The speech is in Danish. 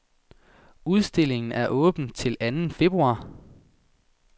Udstillingen er åben til anden februar.